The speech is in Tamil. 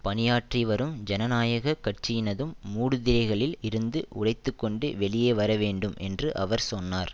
பணியாற்றி வரும் ஜனநாயக கட்சியினதும் மூடுதிரைகளில் இருந்து உடைத்து கொண்டு வெளியே வர வேண்டும் என்று அவர் சொன்னார்